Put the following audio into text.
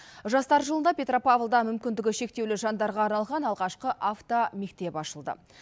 жастар жылында петропавлда мүмкіндігі шектеулі жандарға арналған алғашқы автомектеп ашылды